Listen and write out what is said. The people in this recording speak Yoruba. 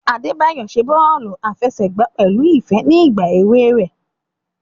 Adebayo ṣe bọọlu afẹsẹgba pẹlu ifẹ ni igba ewe rẹ.